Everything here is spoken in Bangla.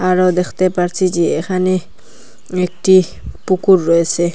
আরও দেখতে পারছি যে এখানে একটি পুকুর রয়েসে।